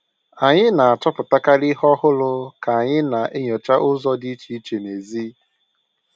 Anyị na-achọpụtakarị ihe ọhụrụ ka anyị na-enyocha ụzọ dị iche iche n'èzí.